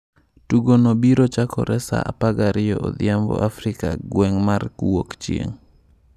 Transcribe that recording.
Tugo no biro chakore sa 12 odhiambo Afrika gweng'mar wuok chieng'.